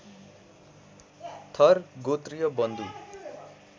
थर गोत्रीय बन्धु